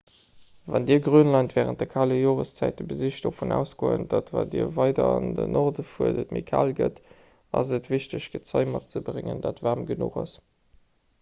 wann dir grönland wärend kale joreszäite besicht dovun ausgoend datt wat dir weider an den norden fuert et méi kal gëtt ass et wichteg gezei matzebréngen dat waarm genuch ass